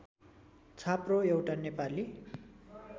छाप्रो एउटा नेपाली